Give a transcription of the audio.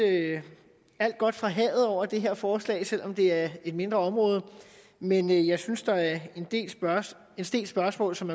alt godt fra havet over det her forslag selv om det er et mindre område men jeg synes der er en del spørgsmål som